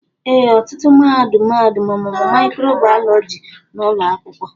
ee, ọtụtụ mahadum mahadum ọmụmụ mịkròbàyọlọjí n'ụlọ akwụkwọ